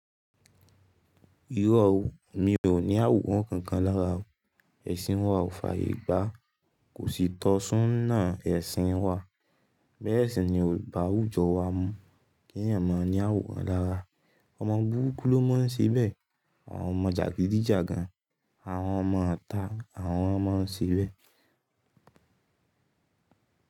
Irọ́ o, mi ò ní àwòrán kankan lára o. Ẹ̀sìn wa ò fàyè gbá. Kò sí tọsún náà ẹ̀sìn wa. Bẹ́ẹ̀ sì ni olùbá àwùjọ wa mọ̀ kí ènìyàn má ní àwòrán lára. Ọmọ búrukú ló máa ń ṣe bẹ́ẹ̀. Àwọn ọmọ jàgídí jagan, àwọn ọmọ ita, àwọn lo má a ń ṣe bẹ́ẹ̀